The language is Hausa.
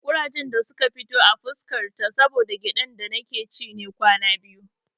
Ƙurajen da suka fito a fuska ta saboda gyaɗar da nake ci ne kwana biyu.